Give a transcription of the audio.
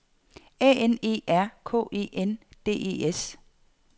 A N E R K E N D E S